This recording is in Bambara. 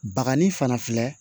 Bakanni fana filɛ